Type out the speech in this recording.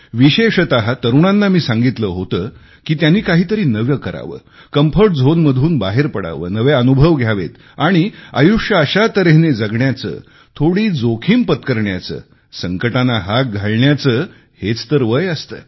विशेषत तरुणांना मी सांगितले होते की त्यांनी काहीतरी नवे करावे कम्फर्ट झोन मधून बाहेर पडावे नवे अनुभव घ्यावेत आणि आयुष्य अशा तऱ्हेने जगण्याचे थोडी जोखिम पत्करण्याचे संकटांना हाक घालण्याचे हेच तर वय असते